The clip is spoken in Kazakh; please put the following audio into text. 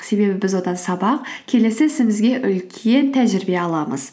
себебі біз одан сабақ келесі ісімізге үлкен тәжірибе аламыз